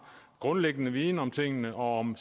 grundlæggende viden om tingene og om